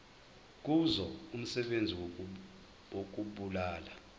kuzo umsebenzi wokubulala